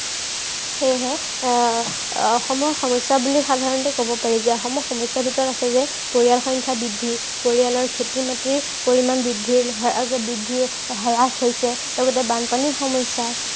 সেয়েহে আহ আহ অসমৰ সমস্য়া বুলি সাধাৰণতে কব পাৰিযে অসমৰ সমস্য়াৰ ভিতৰত আছে যে পৰিয়াল সংখ্য়া বৃদ্ধি, পৰিয়ালৰ খেতি-মাটি পৰিমান বৃদ্ধি আহ বৃদ্ধিৰ হ্ৰাস হৈছে, লগতে বানপানীৰ সমস্য়া